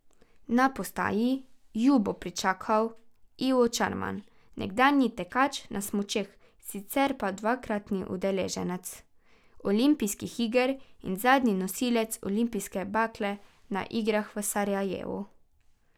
Na postaji ju bo pričakal Ivo Čarman, nekdanji tekač na smučeh, sicer pa dvakratni udeleženec olimpijskih iger in zadnji nosilec olimpijske bakle na igrah v Sarajevu.